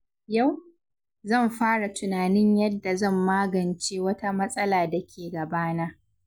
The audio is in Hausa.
Yau, zan fara tunanin yadda zan magance wata matsala da ke gabana.